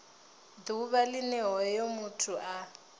ḓuvha line hoyo muthu a